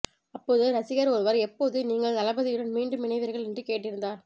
அப்போது ரசிகர் ஒருவர் எப்போது நீங்கள் தளபதியுடன் மீண்டும் இணைவீர்கள் என்று கேட்டிருந்தார்